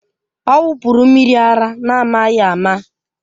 Ọ wụpụrụ mmiri ara n'amaghị ama